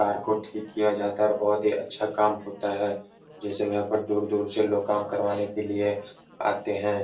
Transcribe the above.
Car को ठीक किया जाता है और बहोत ही अच्छा काम होता है। जैसे यहाँ पर दूर-दूर से लोग काम करवाने के लिये आते हैं।